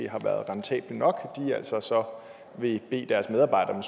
har været rentable nok så så vil bede deres medarbejdere